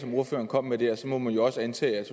ordføreren kom med der må man jo også antage at